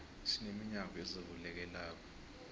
sine minyango ezivulekelako